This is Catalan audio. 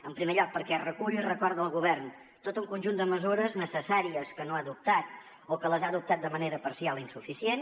en primer lloc perquè recull i recorda al govern tot un conjunt de mesures necessàries que no ha adoptat o que les ha adoptat de manera parcial i insuficient